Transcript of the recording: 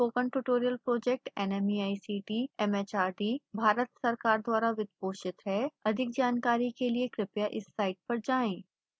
spoken tutorial project nmeict mhrd Bharat सरकार द्वारा वित्त पोषित हैअधिक जानकारी के लिए कृपया इस साइट पर जाएं